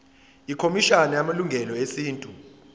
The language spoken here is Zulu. ikhomishana yamalungelo esintu